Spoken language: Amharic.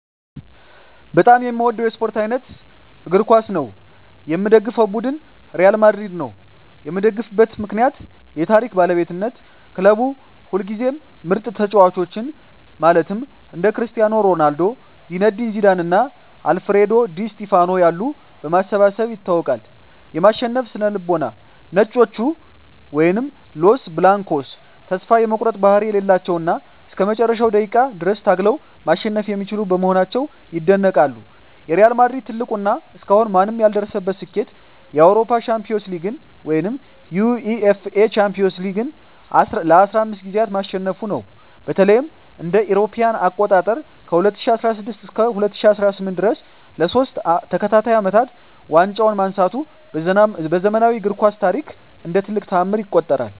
በጣም የምወደው የስፓርት አይነት እግር ኳስ ነው። የምደግፈው ቡድን ሪያል ማድሪድ ነው። የምደግፍበት ምክንያት ዠ የታሪክ ባለቤትነት ክለቡ ሁልጊዜም ምርጥ ተጫዋቾችን (እንደ ክርስቲያኖ ሮናልዶ፣ ዚነዲን ዚዳን እና አልፍሬዶ ዲ ስቲፋኖ ያሉ) በማሰባሰብ ይታወቃል። የማሸነፍ ስነ-ልቦና "ነጮቹ" (Los Blancos) ተስፋ የመቁረጥ ባህሪ የሌላቸው እና እስከ መጨረሻው ደቂቃ ድረስ ታግለው ማሸነፍ የሚችሉ በመሆናቸው ይደነቃሉ። የሪያል ማድሪድ ትልቁ እና እስካሁን ማንም ያልደረሰበት ስኬት የአውሮፓ ሻምፒዮንስ ሊግን (UEFA Champions League) ለ15 ጊዜያት ማሸነፉ ነው። በተለይም እ.ኤ.አ. ከ2016 እስከ 2018 ድረስ ለሶስት ተከታታይ አመታት ዋንጫውን ማንሳቱ በዘመናዊው እግር ኳስ ታሪክ እንደ ትልቅ ተአምር ይቆጠራል።